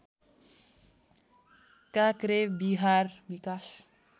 काक्रेबिहार विकास